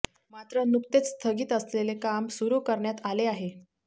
मात्र नुकतेच स्थगित असलेले काम सुरु करण्यात आले आहे